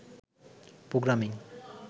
programming